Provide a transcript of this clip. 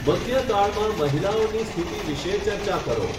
મધ્યકાળમાં મહિલાઓની સ્થિતિ વિશે ચર્ચા કરો.